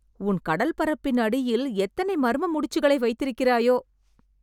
உன் கடல்பரப்பின் அடியில் எத்தனை மர்ம முடிச்சுகளை வைத்திருக்கிறாயோ...